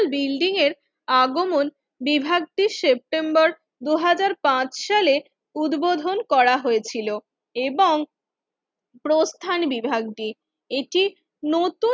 building এর আগমন বিভক্তির সেপ্টেম্বর দুই হাজার পাঁচ সালের উদ্বোধন করা হয়েছিল এবং প্রস্থান বিভাগটি এটি নতুন